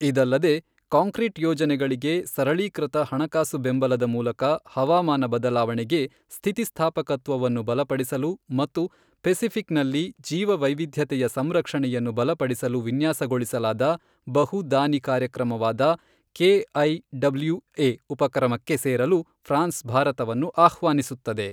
ಇದಲ್ಲದೆ, ಕಾಂಕ್ರೀಟ್ ಯೋಜನೆಗಳಿಗೆ ಸರಳೀಕೃತ ಹಣಕಾಸು ಬೆಂಬಲದ ಮೂಲಕ ಹವಾಮಾನ ಬದಲಾವಣೆಗೆ ಸ್ಥಿತಿಸ್ಥಾಪಕತ್ವವನ್ನು ಬಲಪಡಿಸಲು ಮತ್ತು ಪೆಸಿಫಿಕ್ ನಲ್ಲಿ ಜೀವವೈವಿಧ್ಯತೆಯ ಸಂರಕ್ಷಣೆಯನ್ನು ಬಲಪಡಿಸಲು ವಿನ್ಯಾಸಗೊಳಿಸಲಾದ ಬಹು ದಾನಿ ಕಾರ್ಯಕ್ರಮವಾದ ಕೆಐಡಬ್ಲ್ಯೂಎ ಉಪಕ್ರಮಕ್ಕೆ ಸೇರಲು ಫ್ರಾನ್ಸ್ ಭಾರತವನ್ನು ಆಹ್ವಾನಿಸುತ್ತದೆ.